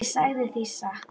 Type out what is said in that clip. Ég sagði það víst.